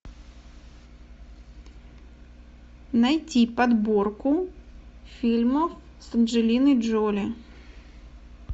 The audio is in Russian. найти подборку фильмов с анджелиной джоли